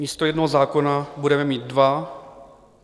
Místo jednoho zákona budeme mít dva.